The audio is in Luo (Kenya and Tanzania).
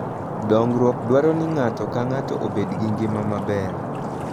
Dongruok dwaro ni ng'ato ka ng'ato obed gi ngima maber.